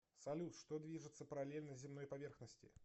салют что движется параллельно земной поверхности